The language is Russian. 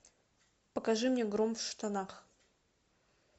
покажи мне гром в штанах